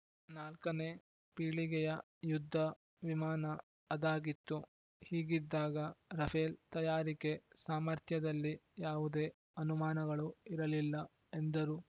ನಾಲ್ಕನೇ ಪೀಳಿಗೆಯ ಯುದ್ಧ ವಿಮಾನ ಅದಾಗಿತ್ತು ಹೀಗಿದ್ದಾಗ ರಫೇಲ್‌ ತಯಾರಿಕೆ ಸಾಮರ್ಥ್ಯದಲ್ಲಿ ಯಾವುದೇ ಅನುಮಾನಗಳು ಇರಲಿಲ್ಲ ಎಂದರು